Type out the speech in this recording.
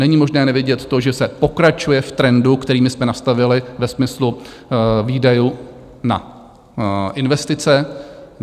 Není možné nevědět to, že se pokračuje v trendu, který my jsme nastavili ve smyslu výdajů na investice.